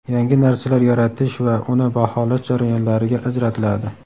yangi narsalar yaratish va uni baholash jarayonlariga ajratiladi.